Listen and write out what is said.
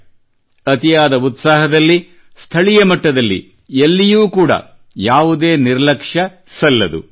ಆದ್ದರಿಂದ ಅತಿಯಾದ ಉತ್ಸಾಹದಲ್ಲಿ ಸ್ಥಳೀಯ ಮಟ್ಟದಲ್ಲಿ ಎಲ್ಲಿಯೂ ಕೂಡಾ ಯಾವುದೇ ನಿರ್ಲಕ್ಷ್ಯ ಸಲ್ಲದು